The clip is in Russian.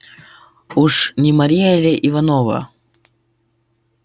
уж не марья ли иванова